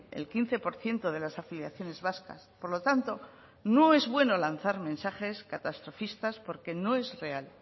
el quince por ciento de las afiliaciones vascas por lo tanto no es bueno lanzar mensajes catastrofistas porque no es real